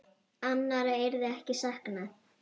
Annarra yrði ekki saknað.